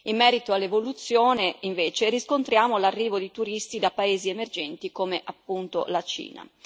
In merito all'evoluzione, invece, riscontriamo l'arrivo di turisti da paesi emergenti come appunto la Cina.